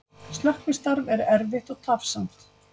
Slökkvistarf er erfitt og tafsamt